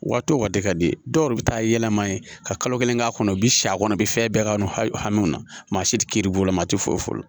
Waati o waati ka di dɔw yɛrɛ bɛ taa yɛlɛma ye ka kalo kelen k'a kɔnɔ u bɛ si a kɔnɔ a bɛ fɛn bɛɛ k'a kɔnɔ hami na maa si tɛ kiiri bulon na maa ti foyi folo